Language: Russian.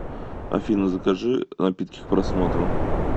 афина закажи напитки к просмотру